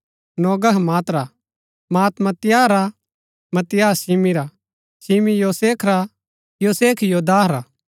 नोगह मात रा Maath Mattathias रा मत्तित्याह शिमी रा शिमी योसेख रा योसेख योदाह रा